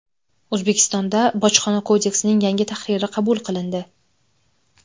O‘zbekistonda Bojxona kodeksining yangi tahriri qabul qilindi.